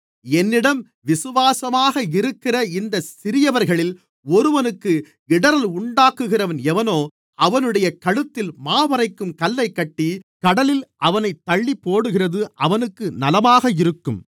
என்னிடம் விசுவாசமாக இருக்கிற இந்தச் சிறியவர்களில் ஒருவனுக்கு இடறல் உண்டாக்குகிறவன் எவனோ அவனுடைய கழுத்தில் மாவரைக்கும் கல்லைக் கட்டி கடலில் அவனைத் தள்ளிப்போடுகிறது அவனுக்கு நலமாக இருக்கும்